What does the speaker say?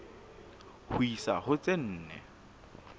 ho isa ho tse nne